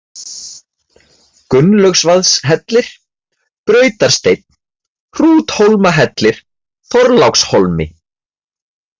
Gunnlaugsvaðshellir, Brautarsteinn, Hrúthólmahellir, Þorlákshólmi